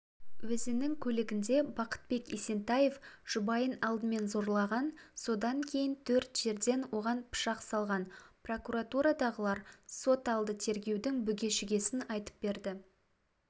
өзінің көлігінде бақытбек есентаев жұбайын алдымен зорлаған содан кейін төрт жерден оған пышақ салған прокуратурадағылар соталды тергеудің бүге-шугесін айтып берді